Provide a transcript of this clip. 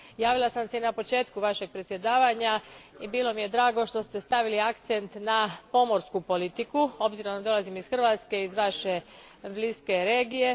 Javila sam se na početku vašeg predsjedavanja i bilo mi je drago što ste stavili akcent na pomorsku politiku obzirom da dolazim iz Hrvatske, iz vaše bliske regije.